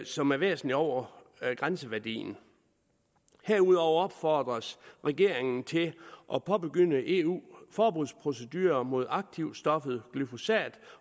som er væsentligt over grænseværdien herudover opfordres regeringen til at påbegynde eu forbudsprocedurer mod aktivstoffet glyphosat